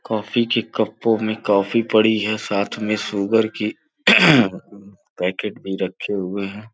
काफी के कपों में कॉफ़ी पड़ी है साथ में शुगर की पैकेट भी रखे हुए हैं।